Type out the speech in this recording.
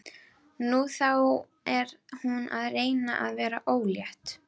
Nú, þá er hún að reyna að verða ólétt.